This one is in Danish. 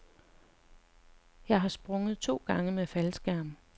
Jeg har sprunget to gange med faldskærm.